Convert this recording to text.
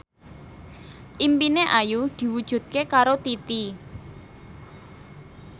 impine Ayu diwujudke karo Titi